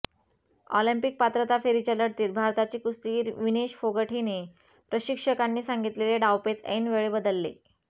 Olympic पात्रता फेरीच्या लढतीत भारताची कुस्तीगीर विनेश फोगट हिने प्रशिक्षकांनी सांगितलेले डावपेच ऐनवेळी बदलले